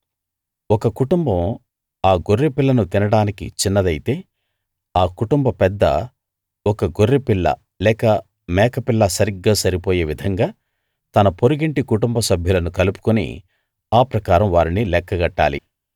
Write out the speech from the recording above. ఒక కుటుంబం ఆ గొర్రెపిల్లను తినడానికి చిన్నదైతే ఆ కుటుంబ పెద్ద ఒక గొర్రె పిల్ల లేక మేక పిల్ల సరిగ్గా సరిపోయే విధంగా తన పొరుగింటి కుటుంబ సభ్యులను కలుపుకుని ఆ ప్రకారం వారిని లెక్కగట్టాలి